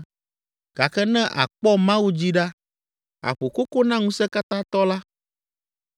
Gake ne àkpɔ Mawu dzi ɖa, aƒo koko na Ŋusẽkatãtɔ la,